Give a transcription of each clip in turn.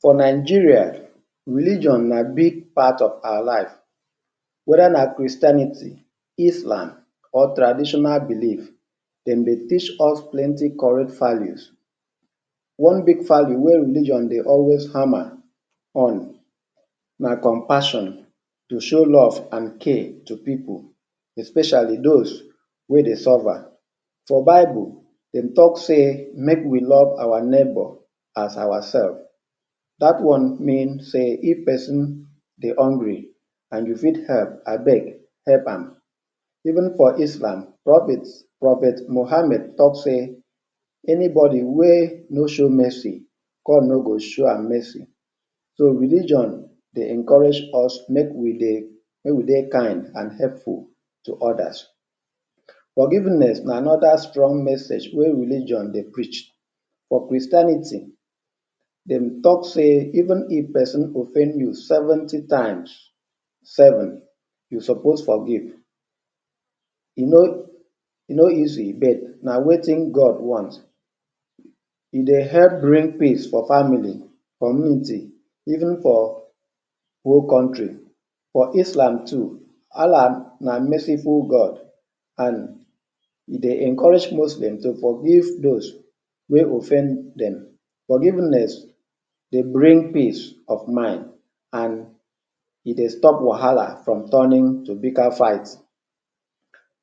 For Nigeria religion na big part of our life, whether na Christianity, Islam or traditional belief. Dem dey teach us plenty correct values. One big value wey religion dey also hammer on na compassion, to show love and care to pipu especially those wey dey suffer. For bible dem talk sey make we love our neighbor as ourself. Dat one mean sey if person dey hungry and you fit help, abeg help am. Even for Islam, prophet prophet Mohammed talk say anybody wey no show mercy, God no go show am mercy. So religion dey encourage us make we dey make we dey kind and helpful to others. Forgiveness na another strong message wey religion dey preach. For Christianity dem talk say even if person offend you seventy times seven you suppose forgive. E no e no easy but na wetin God want. E dey help bring peace for family, community even for whole country. For Islam too, Allah na merciful God and e dey encourage Muslim to forgive those wey offend dem. Forgiveness dey bring peace of mind and e dey stop wahala from turning to bigger fight.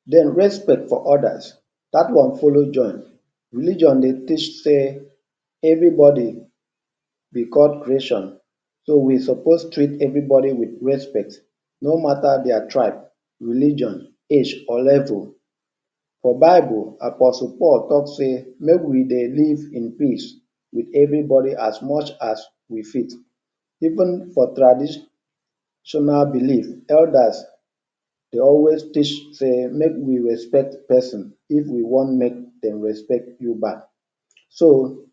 Den respect for others, dat one follow join. Religion dey teach sey everybody be God creation, so we suppose treat everybody wit respect, no matter their tribe, religion, age or level. For bible, apostle Paul talk say make we dey live in peace wit everybody as much as we fit. Even for traditional belief tell dat dey always? make we respect person if you wan make dem dey respect you back. So,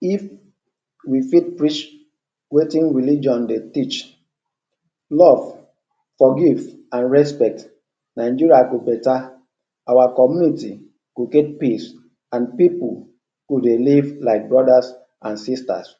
if we fit preach wetin religion dey teach; love, forgive and respect, Nigeria go better. Our community go get peace and pipu go dey live like brothers and sisters.